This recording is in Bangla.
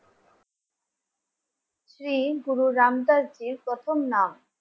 শ্রী গুরু রাম দাস জীর প্রথম নাম